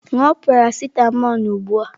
Ṅụọ parasịtamọlụ ugbu a!